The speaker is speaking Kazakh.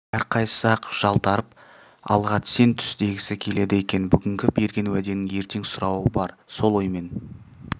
әрқайсысы-ақ жалтарып алға сен түс дегісі келеді екен бүгінгі берген уәденің ертең сұрауы бар сол оймен